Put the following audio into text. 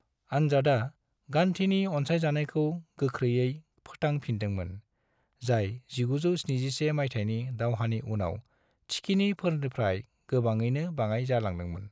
आनजादा गान्धीनि अनसायजानायखौ गोख्रैनो फोथां फिनदोंमोन, जाय 1971 माइथायनि दावहानि उनाव थिखिनिफोरफ्राय गोबाङैनो बाङाय जालांदोंमोन।